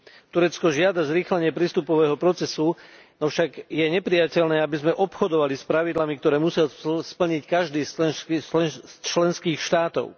Turecko žiada zrýchlenie prístupového procesu, avšak je neprijateľné, aby sme obchodovali s pravidlami, ktoré musel splniť každý z členských štátov.